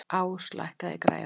Ás, lækkaðu í græjunum.